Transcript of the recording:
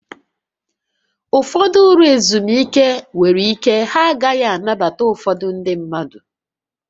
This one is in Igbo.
Ụfọdụ ụlọ ezumike nwere ike ha agaghị anabata ụfọdụ ndị mmadụ